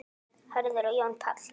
Hörður og Jón Páll.